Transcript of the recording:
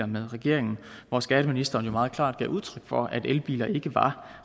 med regeringen hvor skatteministeren jo meget klart gav udtryk for at elbiler ikke var